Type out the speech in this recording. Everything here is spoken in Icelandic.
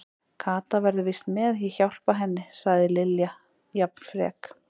Kata verður víst með, ég hjálpa henni sagði Lilla jafn frek.